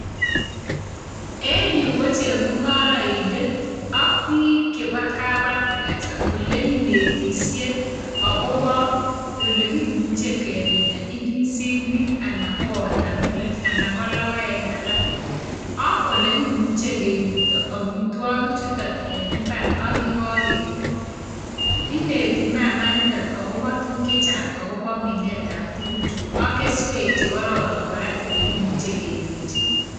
En yu ko chemungaraindet ak biik chebo kap agriculture ole kinetisye agobo ole kimuche keminda indisinik anan ko watermelon anan ko logoek alak ak ole kimuchi keripto amitwogichuton en imbar ak ye kageput. Ineti mama inito agobo tuguk che chang agobo minetab tuguchu ak keswek che kororon kora olegimuche kenyorchi.